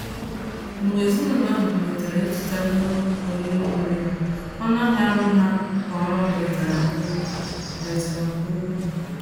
Mgbe ezinụlọ ahụ malitere ịzụta ihe oriri buru ibu, ọnụ ahịa nri ha kwa ọnwa belatara nke ukwuu belatara nke ukwuu